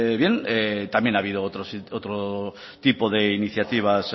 bien también ha habido otro tipo de iniciativas